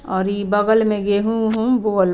और इ बगल में गेहू-उहू बोल --